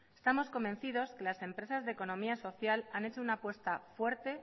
estamos convencidos que las empresas de economía social han hecho una apuesta fuerte